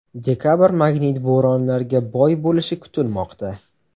Dekabr magnit bo‘ronlariga boy bo‘lishi kutilmoqda.